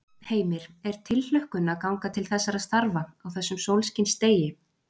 Heimir: Er tilhlökkun að ganga til þessara starfa á þessum sólskinsdegi?